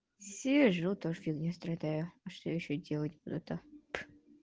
сижу тоже фигнёй страдаю а что ещё делать буду то